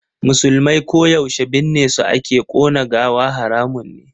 Musulmai ko yaushe binne su ake, ƙona gawa haramun ne.